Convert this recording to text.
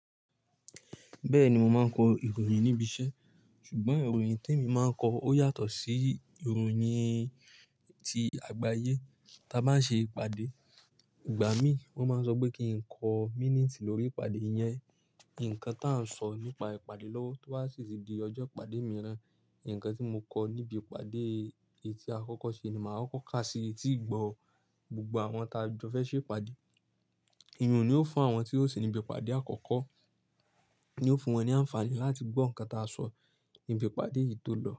Bẹ́ẹ̀ni, mo máa ń kọ ìròyìn níbi iṣẹ́ ṣùgbọ́n ìròyìn tí èmi máa ń kọ ó yàtọ̀ sí ìròyìn ti àgbáyé. Tí a bá ń ṣe ìpàdé, ìgbà mí wọ́n máa ń sọ pé kí n kọ mínítì lórí ìpàdé yẹn. Ǹkan tá ń sọ nípa ìpàdé lọ́wọ́ tó bá sì tì di ọjọ́ ìpàdé mìíràn, ǹkan tí mo kọ níbi ìpàdé ètì àkọ́kọ́ ṣe ni máa kọ́ ká sí ètì ìgbọ̀ gbogbo àwọn ta jọ fẹ́ ṣe ìpàdé. Ìyun ni ó fún àwọn tí ó sì níbi ìpàdé àkọ́kọ́, ni ó fún wọn ní àǹfààní láti gbọ́ ǹkan ta a sọ níbi ìpàdé yìí tó lọ.